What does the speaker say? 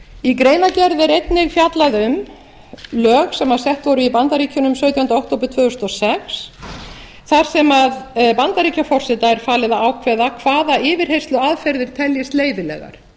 í greinargerð er líka fjallað um lög sem sett voru í bandaríkjunum sautjánda október tvö þúsund og sex þar sem bandaríkjaforseta er falið að ákveða hvaða yfirheyrsluaðferðir teljist leyfilegar